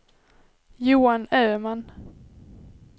Johan Öman